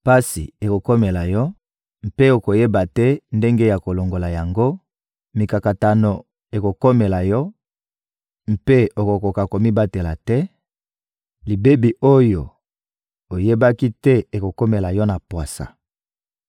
Pasi ekokomela yo, mpe okoyeba te ndenge ya kolongola yango; mikakatano ekokomela yo mpe okokoka komibatela te; libebi oyo oyebaki te ekokomela yo na pwasa.